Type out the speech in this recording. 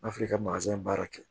N'a fɔra i ka baara kɛ